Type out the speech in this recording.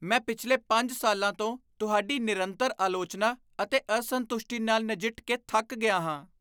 ਮੈਂ ਪਿਛਲੇ ਪੰਜ ਸਾਲਾਂ ਤੋਂ ਤੁਹਾਡੀ ਨਿਰੰਤਰ ਆਲੋਚਨਾ ਅਤੇ ਅਸੰਤੁਸ਼ਟੀ ਨਾਲ ਨਜਿੱਠ ਕੇ ਥੱਕ ਗਿਆ ਹਾਂ